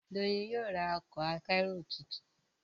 Doyin yóò rá Ọkọ̀ akẹ́rù títún.